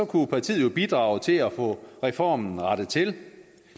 kunne partiet jo bidrage til at få reformen rettet til